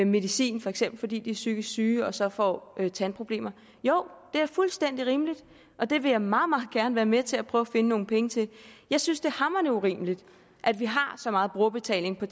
medicin for eksempel fordi de er psykisk syge og så får tandproblemer jo det er fuldstændig rimeligt og det vil jeg meget meget gerne være med til at prøve at finde nogle penge til jeg synes det hamrende urimeligt at vi har så meget brugerbetaling på